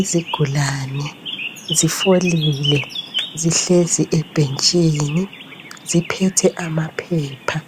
Izigulane zifolile zihlezi ebhentshini ziphethe amaphepha